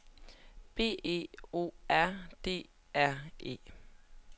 B E O R D R E